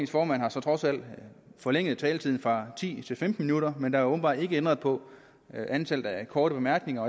formand har trods alt forlænget taletiden fra ti til femten minutter men der er åbenbart ikke ændret på antallet af korte bemærkninger